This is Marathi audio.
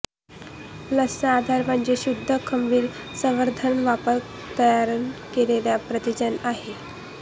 लसचा आधार म्हणजे शुद्ध खमीर संवर्धन वापरून तयार केलेले प्रतिजन आहे